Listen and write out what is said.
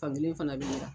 Fankelen fana bɛ jira